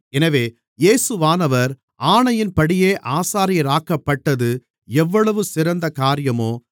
எனவே இயேசுவானவர் ஆணையின்படியே ஆசாரியராக்கப்பட்டது எவ்வளவு சிறந்த காரியமோ